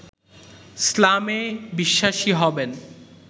ইসলামে বিশ্বাসী হবেন